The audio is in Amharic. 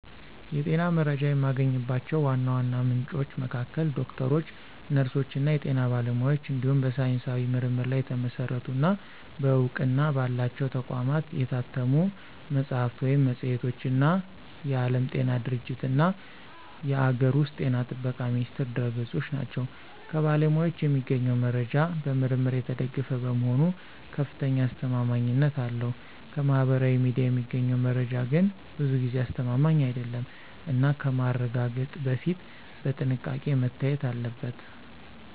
የጤና መረጃ የማገኝባቸው ዋና ዋና ምንጮች መካከል ዶክተሮች፣ ነርሶች እና የጤና ባለሙያዎች እንዲሁም በሳይንሳዊ ምርምር ላይ የተመሰረቱ እና በእውቅና ባላቸው ተቋማት የታተሙ መጽሐፍት ወይም መጽሔቶች እና የዓለም ጤና ድርጅትእና የአገር ውስጥ ጤና ጥበቃ ሚኒስቴር ድረ-ገጾች ናቸው። ከባለሙያዎች የሚገኘው መረጃ በምርምር የተደገፈ በመሆኑ ከፍተኛ አስተማማኝነት አለው። ከማህበራዊ ሚዲያ የሚገኘው መረጃ ግን ብዙ ጊዜ አስተማማኝ አይደለም እና ከማረጋገጥ በፊት በጥንቃቄ መታየት አለበት።